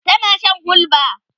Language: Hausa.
tana Shan hulba